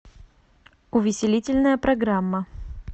увеселительная программа